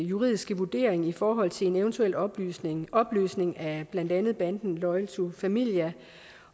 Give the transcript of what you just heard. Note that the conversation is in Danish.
juridiske vurdering i forhold til en eventuel opløsning opløsning af blandt andet banden loyal to familia